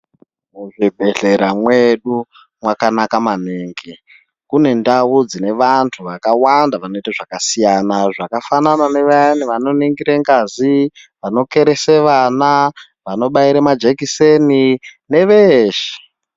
Muzvibhehleya mwedu makanaka maningi kune ndau dzine vantu vakawanda vanoita zvakasiyana zvakafana nevayani vanoningire ngazi, vanokeresa vana vanobaira majekiseni ne veshe.